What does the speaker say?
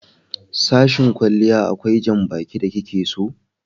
Sashen kwalliya akwai janbaki da ki ke so